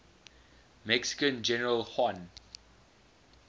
mexican general juan